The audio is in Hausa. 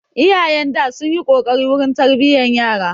Iyayen da sunyi kokari wurin tarbiyan yara